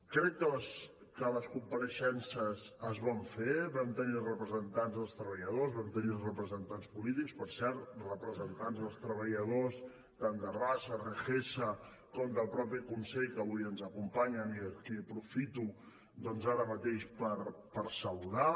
crec que les compareixences es van fer vam tenir els representants dels treballadors vam tenir els representants polítics per cert representants dels treballadors tant de rassa regesa com del mateix consell que avui ens acompanyen i a qui aprofito doncs ara mateix per saludar